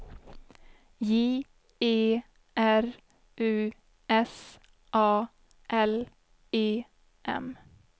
J E R U S A L E M